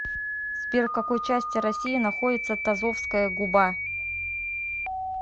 сбер в какой части россии находится тазовская губа